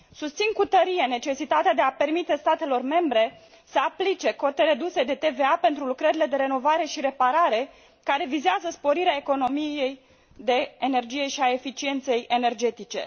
Susțin cu tărie necesitatea de a permite statelor membre să aplice cote reduse de TVA pentru lucrările de renovare și reparare, care vizează sporirea economiei de energie și a eficienței energetice.